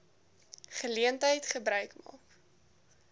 geleentheid gebruik maak